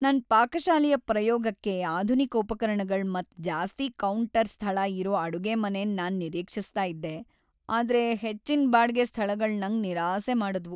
ನನ್ ಪಾಕಶಾಲೆಯ ಪ್ರಯೋಗಕ್ಕೆ ಆಧುನಿಕ ಉಪಕರಣಗಳ್ ಮತ್ ಜಾಸ್ತಿ ಕೌಂಟರ್ ಸ್ಥಳ ಇರೋ ಅಡುಗೆಮನೆನ್ ನಾನ್ ನಿರೀಕ್ಷಿಸ್ತ ಇದ್ದೆ, ಆದ್ರೆ ಹೆಚ್ಚಿನ್ ಬಾಡ್ಗೆ ಸ್ಥಳಗಳ್ ನಂಗ್ ನಿರಾಸೆ ಮಾಡಿದ್ವು.